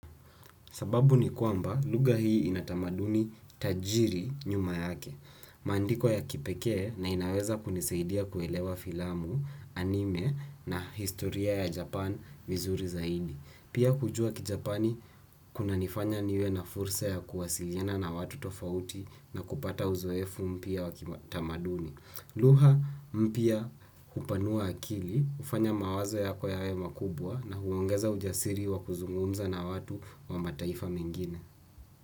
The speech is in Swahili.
Sababu ni kwamba luga hii inatamaduni tajiri nyuma yake. Maandiko ya kipekee na inaweza kunisaidia kuelewa filamu anime na historia ya Japan vizuri zaidi. Pia kujua ki Japani kunanifanya niwe na fursa ya kuwasilina na watu tofauti na kupata uzoefu mpya wakitamaduni. Luha mpya hupanua akili, ufanya mawazo yako yawe makubwa na huongeza ujasiri wa kuzungunza na watu wa mataifa mengine.